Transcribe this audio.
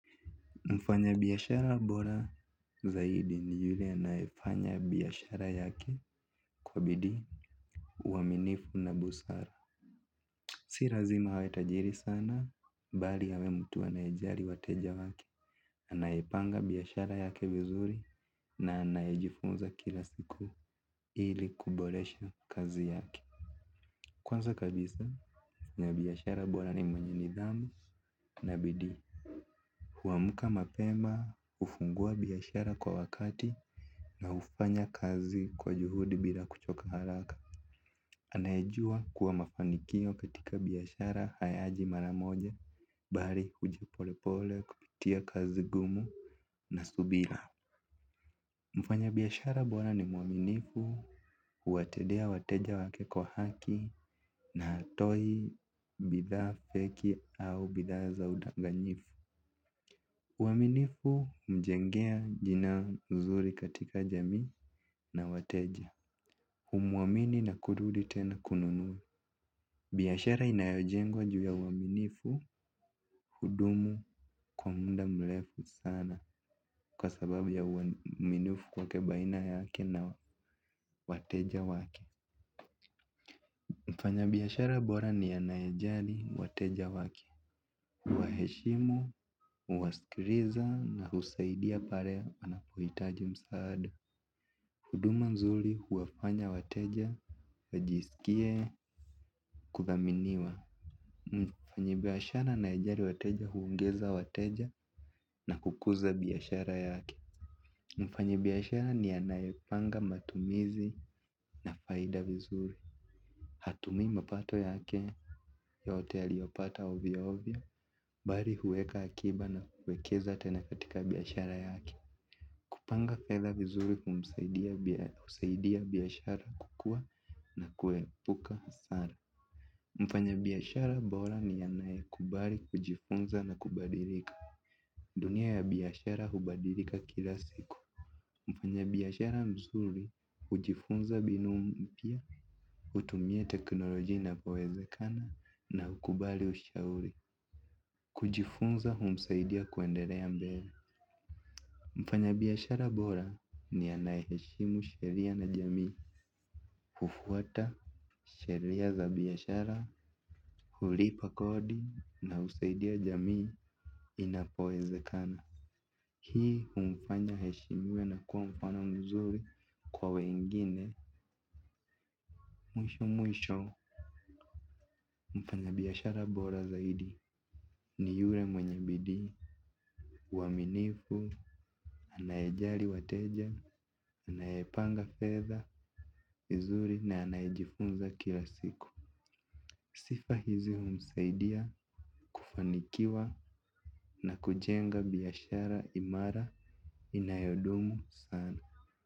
Mfanya biashara bora zaidi ni yule anayefanya biashara yake kwa bidii. Uaminifu na busara. Si lazima awe tajiri sana bali awe mtu anayejali wateja wake. Anaipanga biashara yake vizuri na anayejifunza kila siku ili kuboresha kazi yake. Kwanza kabisa mwana biashara bora ni mwenye nidhamu na bidii. Huamka mapema hufungua biashara kwa wakati na hufanya kazi kwa juhudi bila kuchoka haraka. Anayejua kuwa mafanikio katika biashara hayaji maramoja. Bali huja polepole kupitia kazi ngumu na subira. Mfanya biyashara bora ni mwaminifu huwatendea wateja wake kwa haki na hatoi bidhaa fake au bidhaa za udanganyifu. Uaminifu humjengea jina nzuri katika jamii na wateja. Humwamini na kurudi tena kununua. Biashara inayojengwa juu ya uaminifu hudumu kwa muda mrefu sana kwa sababu ya uaminifu kwake baina yake na wateja wake. Mfanya biashara bora ni anayejali wateja wake huwaheshimu, huwasikiliza na husaidia pale anapohitaji msaada. Huduma nzuri huwafanya wateja wajisikie kudhaminiwa. Mfanyi biashara anayejali wateja huongeza wateja na kukuza biashara yake. Mfanyi biashara ni anayepanga matumizi na faida vizuri. Hatumi mapato yake yote aliyopata ovyovyo. Bali huweka akiba na kuwekeza tena katika biashara yake. Kupanga fedha vizuri humsaidia biashara kukua na kuepuka hasara. Mfanya biashara bora ni anayekubali, kujifunza na kubadilika. Dunia ya biashara hubadilika kila siku. Mfanya biashara mzuri hujifunza binu mpya, hutumia teknolojia inapowezekana na hukubali ushauri. Kujifunza humsaidia kuendelea mbele. Mfanya biashara bora ni anayeheshimu sheria na jamii. Hufuata sheria za biashara, hulipa kodi na husaidia jamii inapowezekana. Hii humfanya aheshimiwe na kuwa mfano mzuri kwa wengine mwisho mwisho. Mfanya biashara bora zaidi ni yule mwenye bidii. Uaminifu, anayejali wateja, anayepanga fedha, vizuri na anayejifunza kila siku. Sifa hizi humsaidia kufanikiwa na kujenga biashara imara inayodumu sana.